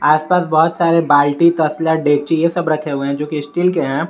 आसपास बहुत सारे बाल्टी तसला डेची ये सब रखे हुए हैं जोकि स्टील के हैं।